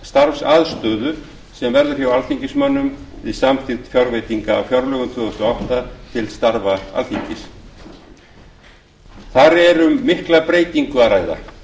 starfsaðstöðu sem verður hjá alþingismönnum við samþykkt fjárveitinga á fjárlögum tvö þúsund og átta til starfa alþingis þar er um mikla breytingu að ræða